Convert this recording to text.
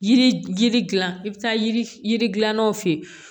Yiri yiri dilan i bɛ taa yiri yiri gilan naw fe yen